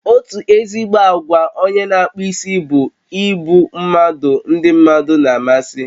Otu ezigbo àgwà onye n'akpụ isi bụ ịbụ mmadụ ndi mmadụ na amasị